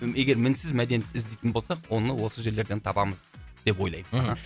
егер мінсіз мәдениент іздейтін болсақ оны осы жерлерден табамыз деп ойлаймын мхм